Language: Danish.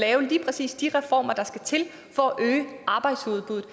lave lige præcis de reformer der skal til for at øge arbejdsudbuddet